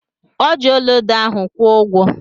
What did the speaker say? Ọ ji ọlaedo ahụ kwụ ụgwọ.